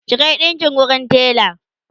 ki Kai ɗinƙin wurin tela!